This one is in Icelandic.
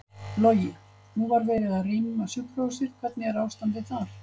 Logi: Nú var verið að rýma sjúkrahúsið, hvernig er ástandið þar?